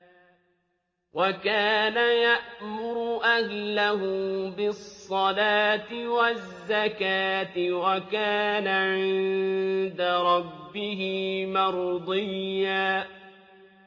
وَكَانَ يَأْمُرُ أَهْلَهُ بِالصَّلَاةِ وَالزَّكَاةِ وَكَانَ عِندَ رَبِّهِ مَرْضِيًّا